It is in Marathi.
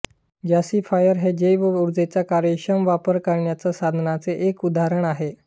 गॅसिफायर हे जैव ऊर्जेचा कार्यक्षम वापर करण्याच्या साधनाचे एक उदाहरण आहे